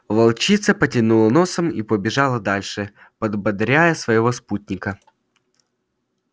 волчица потянула носом и побежала дальше подбодряя своего спутника